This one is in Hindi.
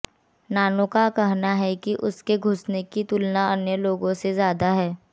नानो का कहना है कि उसके सूंघने की तुलना अन्य लोगों से ज्यादा है